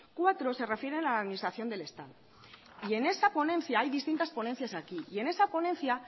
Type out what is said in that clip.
cuatro se refieren a la administración del estado en esa ponencia hay distintas ponencias aquí en esa ponencia